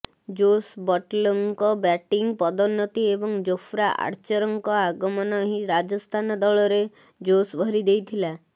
ଜୋସ୍ ବଟ୍ଲର୍ଙ୍କ ବ୍ୟାଟିଂ ପଦୋନ୍ନତି ଏବଂ ଜୋଫ୍ରା ଆର୍ଚରଙ୍କ ଆଗମନ ହିଁ ରାଜସ୍ଥାନ ଦଳରେ ଜୋସ୍ ଭରି ଦେଇଥିଲା